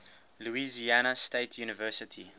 louisiana state university